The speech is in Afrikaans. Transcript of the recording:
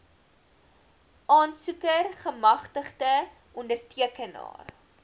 aansoeker gemagtigde ondertekenaar